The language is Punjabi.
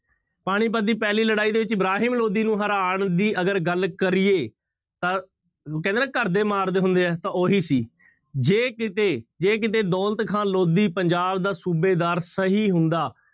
ਪਾਣੀਪੱਤ ਦੀ ਪਹਿਲੀ ਲੜਾਈ ਦੇ ਵਿੱਚ ਇਬਰਾਹਿਮ ਲੋਧੀ ਨੂੰ ਹਰਾਉਣ ਦੀ ਅਗਰ ਗੱਲ ਕਰੀਏ ਤਾਂ ਕਹਿੰਦੇ ਨਾ ਘਰਦੇ ਮਾਰਦੇ ਹੁੰਦੇ ਆ, ਤਾਂ ਉਹੀ ਸੀ ਜੇ ਕਿਤੇ ਜੇ ਕਿਤੇ ਦੌਲਤ ਖਾਂ ਲੋਧੀ ਪੰਜਾਬ ਦਾ ਸੂਬੇਦਾਰ ਸਹੀ ਹੁੰਦਾ